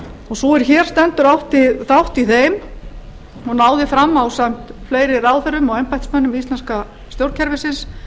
og sú er hér stendur átti þátt í þeim og náði fram ásamt fleiri ráðherrum og embættismönnum íslenska stjórnkerfisins